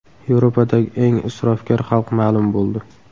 Yevropadagi eng isrofgar xalq ma’lum bo‘ldi.